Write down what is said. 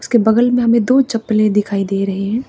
इसके बगल में हमें दो चप्पले दिखाई दे रहे हैं।